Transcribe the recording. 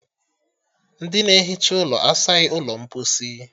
Ndị na-ehicha ụlọ asaghi ụlọ mposi